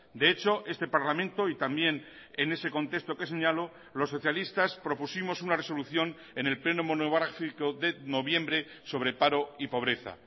de hecho este parlamento y también en ese contexto que señalo los socialistas propusimos una resolución en el pleno monográfico de noviembre sobre paro y pobreza